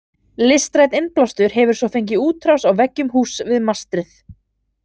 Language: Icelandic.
Listrænn innblástur hefur svo fengið útrás á veggjum húss við mastrið.